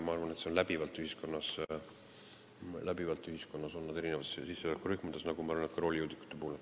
Ma arvan, et selliseid kuritegusid pannakse ühiskonnas läbivalt toime, erinevates sissetulekurühmades, nagu ma olen öelnud ka roolijoodikute puhul.